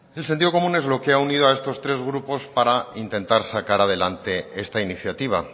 el sentido común es lo que ha unido a estos tres grupos para intentar sacar adelante esta iniciativa